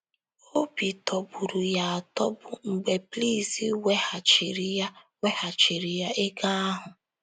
Obi tọgburu ya atọgbu mgbe Blaise weghachiiri ya weghachiiri ya ego ahụ.